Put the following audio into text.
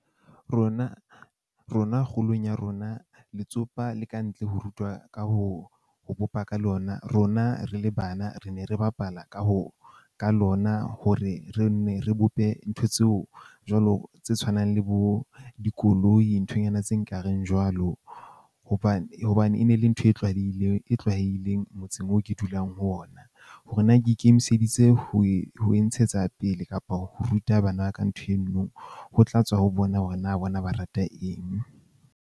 Rona rona, kgolong ya rona, letsopa le ka ntle ho rutwa ka ho ho bopa ka lona. Rona re le bana, re ne re bapala ka ho ka lona hore re nne re bope ntho tseo jwalo tse tshwanang le bo dikoloi nthonyana tse nkareng jwalo hobane hobane e ne le ntho e tlwalehileng e tlwaelehileng motseng oo ke dulang ho ona. Hore na ke ikemiseditse ho e ntshetsa pele kapa ho ruta bana ka ntho eno, ho tla tswa ho bona hore na bona ba rata eng.